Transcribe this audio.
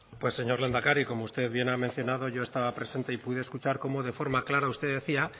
pues señor lehendakari como usted bien ha mencionado yo estaba presente y pude escuchar cómo de forma clara usted decía